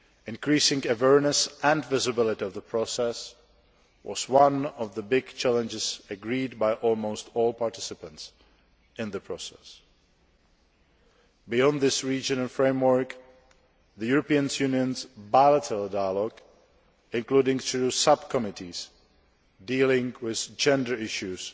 Increasing awareness and visibility of the process was one of the big challenges agreed by almost all participants in the process. Beyond this regional framework, the European Union's bilateral dialogue, including through sub committees dealing with gender issues,